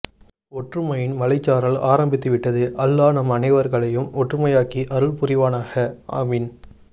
ஒற்றுமையின் மலைசாரல் ஆரம்பித்து விட்டது அலலாஹ் நம் அனைவர்ஹலையும் ஒற்றுமை ஆக்கி அருள் புரிவனாஹா ஆமீன்